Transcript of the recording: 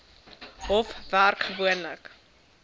hof werk gewoonlik